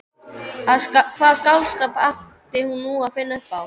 Hvaða skáldskap átti nú að finna upp á?